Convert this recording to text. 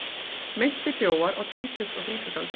Meintir þjófar á tvítugs og þrítugsaldri